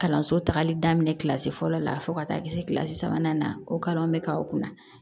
Kalanso tagali daminɛ kilasi fɔlɔ la fo ka taa kɛ se kilasi sabanan na o kalan bɛ k'a kunna